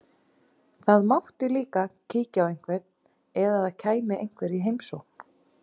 Það mátti líka kíkja á einhvern, eða það kæmi einhver í heimsókn.